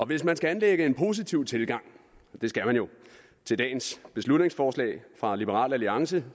hvis man skal anlægge en positiv tilgang og det skal man jo til dagens beslutningsforslag fra liberal alliance